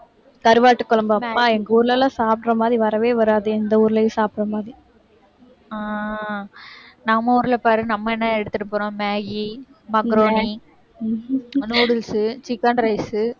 கருவாட்டு குழம்பு, அப்பா எங்க ஊர்ல எல்லாம் சாப்பிடுற மாதிரி வரவே வராது, எந்த ஊர்லயும் சாப்பிடுற மாதிரி அஹ் நம்ம ஊர்ல பாரு நம்ம என்ன எடுத்துட்டு போறோம் maggi, macaroni, noodles உ chicken rice உ